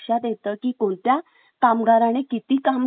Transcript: कामगाराने किती काम केले हे लक्षात येतं